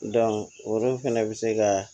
olu fɛnɛ bɛ se ka